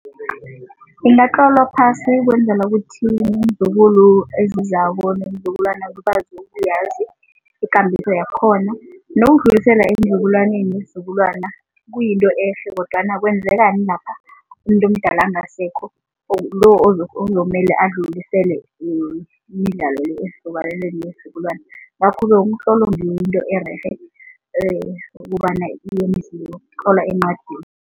Ingatlolwa phasi ukwenzela ukuthi ezizako neenzukulwana ukuyazi ikambiso yakhona nokudlilesela eenzukulwaneni nesizukulwana kuyinto ehle kodwana kwenzekani lapha umuntu omdala angasekho lo ozomele alulisele imidlalo le esizukulwaneni nesizukulwana. Ngakho-ke umtlolo ngiwo into ererhe ukobana encwadini.